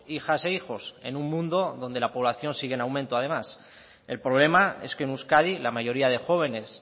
hijas e hijos en un mundo donde la población sigue en aumento además el problema es que en euskadi la mayoría de jóvenes